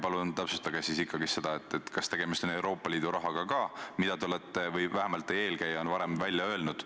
Palun täpsustage, kas tegemist on Euroopa Liidu rahaga, nagu te olete või vähemalt teie eelkäija on varem välja öelnud.